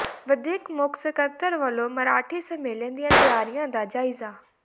ਵਧੀਕ ਮੁੱਖ ਸਕੱਤਰ ਵੱਲੋਂ ਮਰਾਠੀ ਸੰਮੇਲਨ ਦੀਆਂ ਤਿਆਰੀਆਂ ਦਾ ਜਾਇਜ਼ਾ